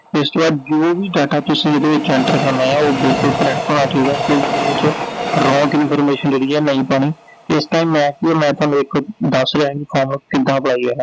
ਇਸ ਤੋਂ ਬਾਅਦ ਜੋ ਵੀ data ਤੁਸੀਂ ਇਹਦੇ ਵਿਚ enter ਕਰਨਾ ਆ, ਉਹ ਬਿਲਕੁਲ correct ਹੋਣਾ ਚਾਹੀਦਾ, ਕੋਈ ਵੀ ਇਹਦੇ ਵਿਚ wrong information ਜਿਹੜੀ ਐ ਨਹੀਂ ਪਾਉਣੀ, ਤੇ ਇਸ time ਮੈਂ ਮੈਂ ਥੋਨੂੰ ਇੱਕ ਦੱਸ ਰਿਹੈਂ ਵੀ ਕਿਦਾਂ apply ਕਰਨੈ